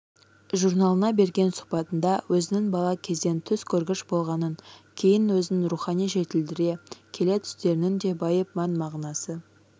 журналына берген сұхбатында өзінің бала кезден түс көргіш болғанын кейін өзін рухани жетілдіре келе түстерінің де байып мән-мағынасы